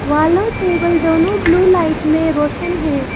Wall और table दोनों blue light में रोशन है।